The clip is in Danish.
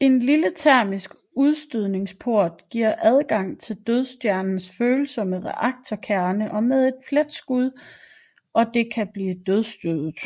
En lille termisk udstødningsport giver adgang til Dødsstjernens følsomme reaktorkernen med et pletskud og det kan blive dødsstødet